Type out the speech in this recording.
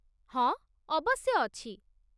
ହଁ, ଅବଶ୍ୟ ଅଛି